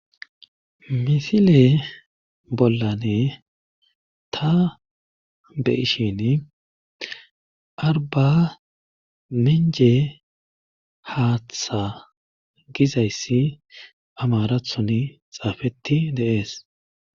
misile bollan ta be'ishin arba minice haatha gizayssi amarathon xaafeti de'ees